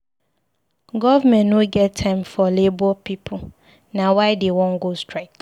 Government no get time for Labour pipu. Na why dey wan go strike.